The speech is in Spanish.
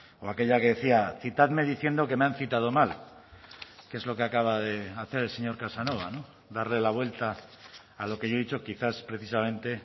o aquella que decía citadme diciendo que me han citado mal que es lo que acaba de hacer el señor casanova darle la vuelta a lo que yo he dicho quizás precisamente